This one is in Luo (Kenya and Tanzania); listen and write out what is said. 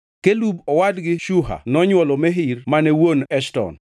Kelub, owadgi Shuha nonywolo Mehir mane wuon Eshton.